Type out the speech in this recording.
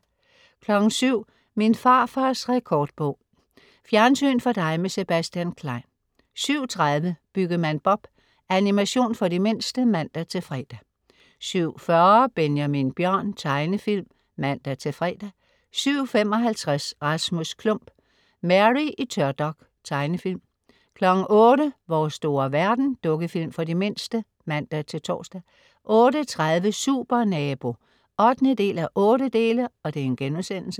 07.00 Min farfars rekordbog. Fjernsyn for dig med Sebastian Klein 07.30 Byggemand Bob. Animation for de mindste (man-fre) 07.40 Benjamin Bjørn. Tegnefilm (man-fre) 07.55 Rasmus Klump. Mary i tørdok. Tegnefilm 08.00 Vores store verden. Dukkefilm for de mindste (man-tors) 08.30 Supernabo 8:8*